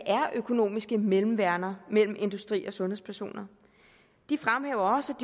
økonomiske mellemværender mellem industri og sundhedspersoner de fremhæver også